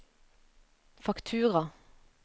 faktura